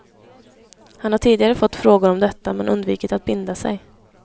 Han har tidigare fått frågor om detta men undvikit att binda sig.